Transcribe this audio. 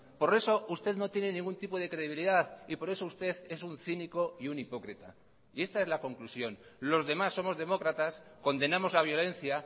por eso usted no tiene ningún tipo de credibilidad y por eso usted es un cínico y un hipócrita y esta es la conclusión los demás somos demócratas condenamos la violencia